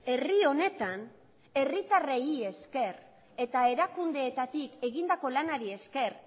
herri honetan herritarrei esker eta erakundeetatik egindako lanari esker